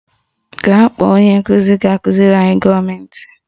Gaa kpọọ onye nkụzi ga-akụziri anyị gọọmentị